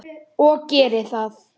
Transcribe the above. Og geri það.